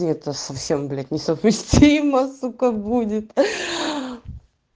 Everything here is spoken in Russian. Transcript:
это совсем блять несовместимо сука будет